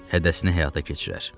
Hədəsini həyata keçirər.